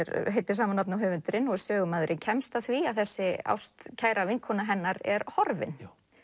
heitir sama nafni og höfundurinn og er sögumaðurinn kemst að því að þessi ástkæra vinkona hennar er horfin